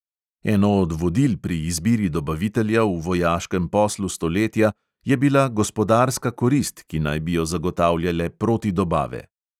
Eno od vodil pri izbiri dobavitelja v vojaškem poslu stoletja je bila gospodarska korist, ki naj bi jo zagotavljale protidobave.